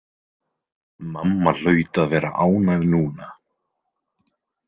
Mamma hlaut að vera ánægð núna.